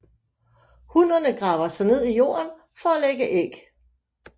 Hunnerne graver sig ned i jorden for at lægge æg